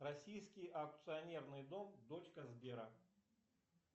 российский акционерный дом дочка сбера